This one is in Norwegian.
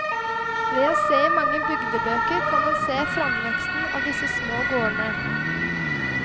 Ved å se i mange bygdebøker, kan en se framveksten av disse små gårdene.